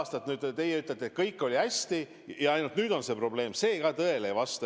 Aga et 11 aastat kõik oli hästi ja ainult nüüd on see probleem, siiski tõele ei vasta.